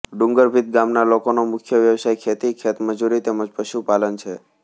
ડુંગરભીંત ગામના લોકોનો મુખ્ય વ્યવસાય ખેતી ખેતમજૂરી તેમ જ પશુપાલન છે